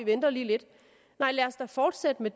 venter lige lidt nej lad os da fortsætte med